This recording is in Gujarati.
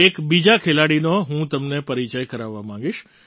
એક બીજા ખેલાડીનો હું તમને પરિચય કરાવવા માગીશ